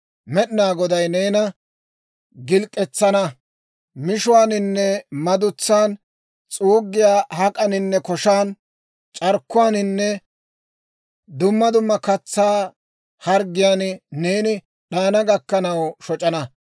Med'inaa Goday neena gilk'k'atetsan, mishuwaaninne madutsan, s'uuggiyaa harggiyaaninne koshan, c'arkkuwaaninne dumma dumma katsaa harggiyaan neeni d'ayana gakkanaw shoc'ana.